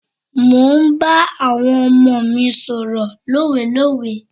Mò ń bá àwọn ọmọ mi sọ̀rọ̀ lówelówe.